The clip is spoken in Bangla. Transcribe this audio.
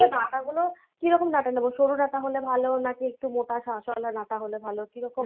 এই যে ডাটা গুলো কিরকম ডাটা নেবো? সরু ডাটা হলে ভালো? নাকি একটু মোটা নাটা হলে ভালো। কিরকম?